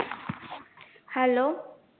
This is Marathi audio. hello